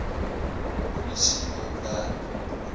polisie hul werk